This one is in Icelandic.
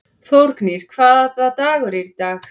Þórgnýr, hvaða dagur er í dag?